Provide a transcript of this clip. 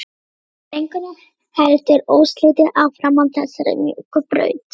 Drengurinn heldur óslitið áfram á þessari mjúku braut.